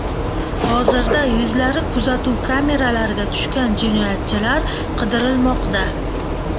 Hozirda yuzlari kuzatuv kameralariga tushgan jinoyatchilar qidirilmoqda.